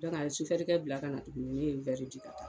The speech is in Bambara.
a ye sofɛrikɛ bila ka na tuguni ne ye di ka taa